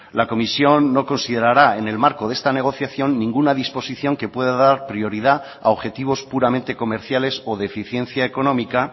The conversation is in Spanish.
la comisión no considerará en el marco de esta negociación ninguna disposición que pueda dar prioridad a objetivos puramente comerciales o de eficiencia económica